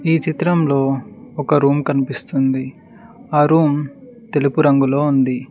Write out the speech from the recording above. ఈ చిత్రంలో ఒక రూమ్ కనిపిస్తుంది ఆ రూమ్ తెలుపు రంగులో ఉంది.